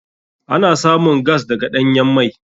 Ana samun gas daga ɗanyan mai.